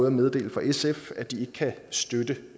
at meddele fra sf at de ikke kan støtte